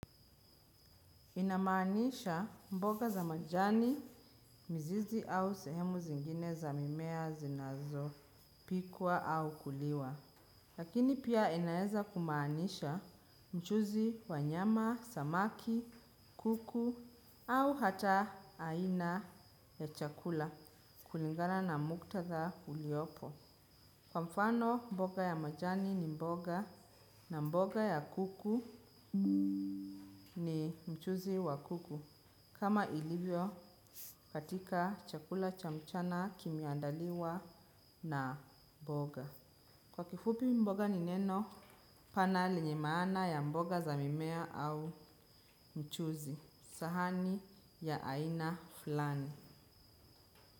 Inamaanisha mboga za majani, mzizi au sehemu zingine za mimea zinazopikwa au kuliwa. Lakini pia inaeza kumaanisha mchuzi wa nyama, samaki, kuku au hata aina ya chakula kulingana na muktadha uliopo. Kwa mfano mboga ya majani ni mboga na mboga ya kuku ni mchuzi wa kuku. Kama ilivyo katika chakula cha mchana kimeandaliwa na mboga. Kwa kifupi mboga ni neno panali lenye maana ya mboga za mimea au mchuzi. Sahani ya aina flani.